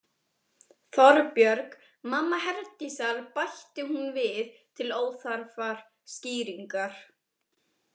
Þorbjörg, mamma Herdísar, bætti hún við til óþarfrar skýringar.